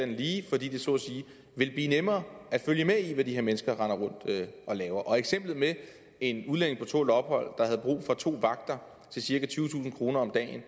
lige fordi det så at sige ville blive nemmere at følge med i hvad de her mennesker render rundt og laver og til eksemplet med en udlænding på tålt ophold der havde brug for to vagter til cirka tyvetusind kroner om dagen